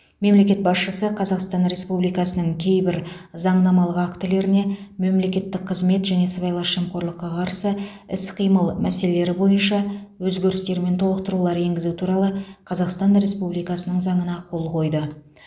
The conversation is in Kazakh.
мемлекет басшысы қазақстан республикасының кейбір заңнамалық актілеріне мемлекеттік қызмет және сыбайлас жемқорлыққа қарсы іс қимыл мәселелері бойынша өзгерістер мен толықтырулар енгізу туралы қазақстан республикасының заңына қол қойды